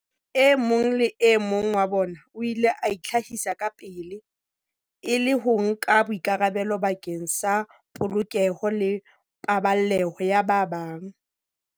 E mong le e mong wa bona o ile a itlhahisa kapele, e le ho nka boikarabelo bakeng sa polokeho le paballeho ya ba bang.